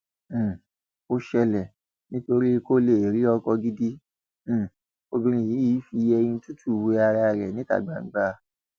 um ó ṣẹlẹ nítorí kó lè rí ọkọ gidi um obìnrin yìí fi eyín tútù wé ara ẹ níta gbangba